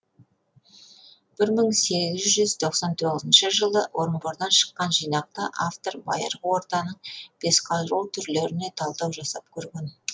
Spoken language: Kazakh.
бір мың сегіз жүз тоқсан тоғызыншы жылы орынбордан шыққан жинақта автор байырғы ортаның бесқару түрлеріне талдау жасап көрген